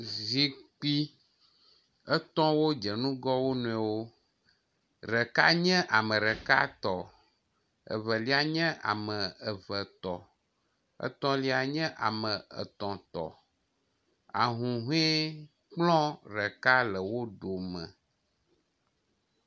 Zikpui etɔ̃wo dze ŋgɔ wo nɔewo. Ɖeka nye ame ɖeka tɔ, Evelia nye ame eve tɔ, etɔ̃lia nye ame etɔ̃ tɔ. Ahuhɔekplɔ ɖeka le wo dome.